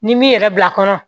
Ni m'i yɛrɛ bila kɔnɔ